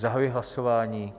Zahajuji hlasování.